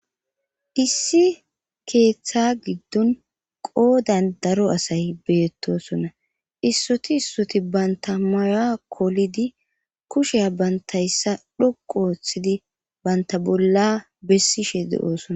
Issi keeththa giddon qoodan daro asay beettosona issoti issoti banta maya kolidi kushea bantayssa dhoqu ooththidi banta bolla bessishe de7oosona.